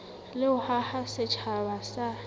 le ho haha setjhaba sa